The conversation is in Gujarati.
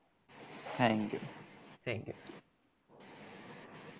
thank you